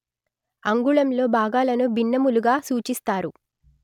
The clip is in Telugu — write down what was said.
అంగుళంలో భాగాలను భిన్నములుగా సూచిస్తారు